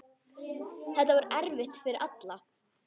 Þetta var erfitt fyrir alla.